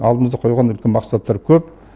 алдымызға қойған үлкен мақсаттар көп